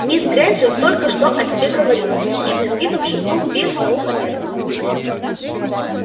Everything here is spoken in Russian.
мисс грэйнджер только что о тебе говорила с ехидным видом шепнул пивз на ухо миртл